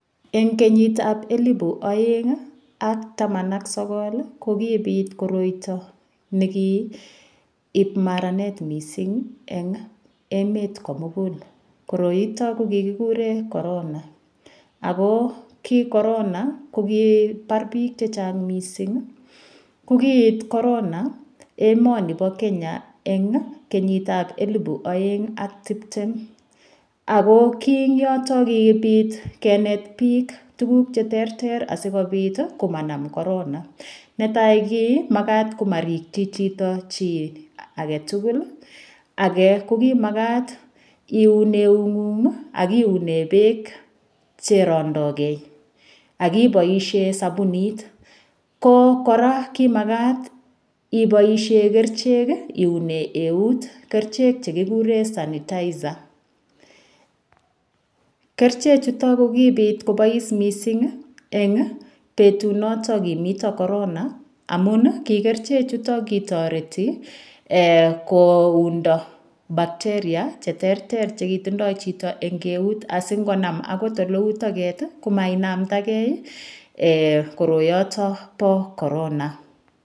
Eng' kenyitab elibu oeng' ak taman ak sokol ko kobit kotoi nekiib maaranet mising' eng' emet komugul koroito ko kikikure korona ako ki korona ko kipar biik chechang' mising' ko kiit korona emoni bo Kenya eng' kenyitab elibu oeng' ak tiptem ako kii ing' yoton kibit kenet biik tukuk cheterter asikobit komanam korona netai ko kimakat komarikchi chito chi agetugul ake ko kimakat iun eung'ung' akiune beek cherondogei akiboishe sabunit ko kora kimakat iboishe kerichek iune eut kerichek chekikure sanitizer keriche chuto ko kibit kobois mising' eng' betunoto kimito korona amun ki kerichechuto ko kitoreti koundo bacteria cheterter chekitindoi chito eng' keut asingonam akot olou toket komakinamtakei koroyotok bo korona